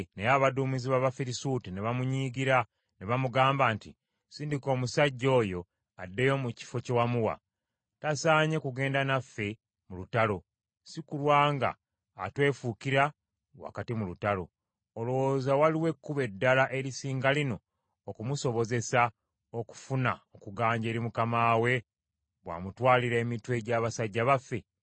Naye abaduumizi b’Abafirisuuti ne bamunyiigira ne bamugamba nti, “Sindika omusajja oyo addeyo mu kifo kye wamuwa. Tasaanye kugenda naffe mu lutalo, si kulwa nga atwefuukira wakati mu lutalo. Olowooza waliwo ekkubo eddala erisinga lino okumusobozesa okufuna okuganja eri mukama we bw’amutwalira emitwe gy’abasajja baffe?